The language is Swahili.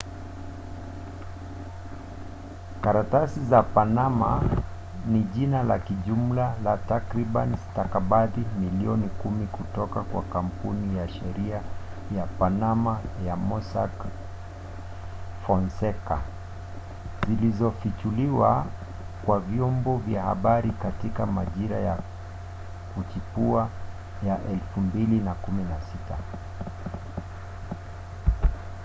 "karatasi za panama ni jina la kijumla la takriban stakabadhi milioni kumi kutoka kwa kampuni ya sheria ya panama ya mossack fonseca zilizofichuliwa kwa vyombo vya habari katika majira ya kuchipua ya 2016